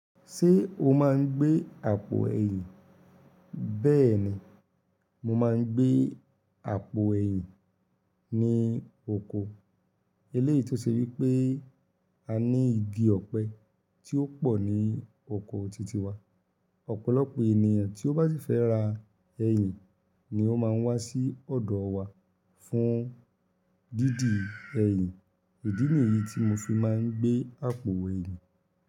Ṣé o máa ń gbé àpò ẹ̀yìn? Bẹ́ẹ̀ ni, mo máa ń gbé àpò ẹ̀yìn ní oko. Eléyí tó ṣe wípé a ní igi ọ̀pẹ tí ó pọ̀ ní oko titi wa. Ọ̀pọ̀lọpọ̀ ènìyàn tí ó bá sì fẹ́ ra ẹyìn ni ó máa ń wá sí ọ̀dọ̀ wa fún dídi ẹyìn. Ìdí nìyí tí mo fi máa ń gbé àpò ẹyìn.